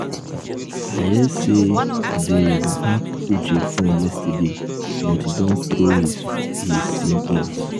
i hear say dey hack uche phone yesterday but he don throw his his sim out